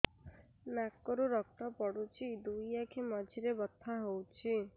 ନାକରୁ ରକ୍ତ ପଡୁଛି ଦୁଇ ଆଖି ମଝିରେ ବଥା ହଉଚି